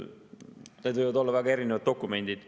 Need võivad olla väga erinevad dokumendid.